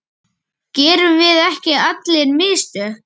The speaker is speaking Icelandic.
Gerum við ekki allir mistök?